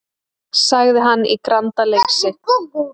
sagði hann í grandaleysi.